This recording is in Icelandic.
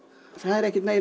það er ekkert meiri